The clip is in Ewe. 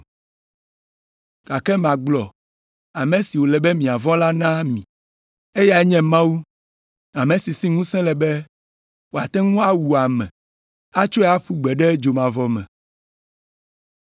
Gake magblɔ ame si wòle be miavɔ̃ la na mi, eyae nye Mawu ame si si ŋusẽ le be wòate ŋu awu ame atsɔe aƒu gbe ɖe dzomavɔ me.